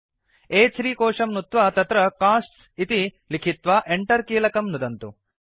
अ3 कोशं नुत्वा तत्र कोस्ट्स् इति लिखित्वा Enter कीलकं नुदन्तु